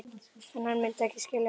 En hann mundi ekki skilja mig.